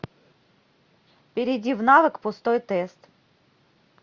перейди в навык пустой тест